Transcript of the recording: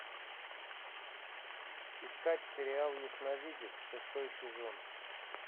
искать сериал ясновидец шестой сезон